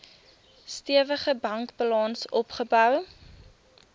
stewige bankbalans opgebou